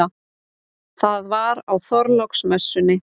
Það var á Þorláksmessunni.